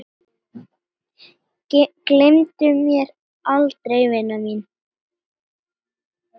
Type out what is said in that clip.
Gleymdu mér aldrei vina mín.